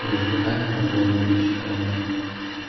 мы затыкаем пробоины в днище корабля